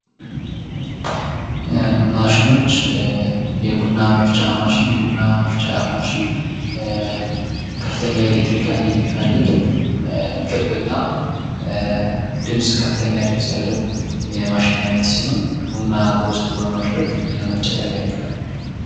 ማሽኖች የቡና መፍጫ ማሽን ከፍተኛ የኤሌክትሪክ ኃይል የሚፈልግ ክብ እና ከፍተኛ ድምጽ ያለው የማሽን አይነት ሲሆን፤ ቡና በውስጡ በማድረግ ለመፍጨት ያገለግላል።